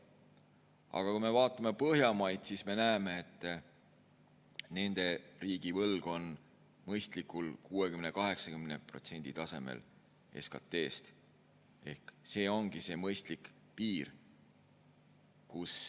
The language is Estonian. Aga kui me vaatame Põhjamaid, siis me näeme, et nende riigivõlg on mõistlikul tasemel, 60%–80% SKT‑st. See ongi see mõistlik piir.